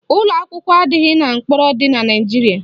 Ụlọakwụkwọ adịghị n'ụlọ mkpọrọ dị na Naijiria